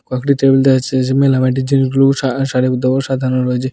কয়েকটি টেবিল দেওয়া আছে জিনিসগুলো সারি সারিবদ্ধভাবে সাজানো রয়েছে।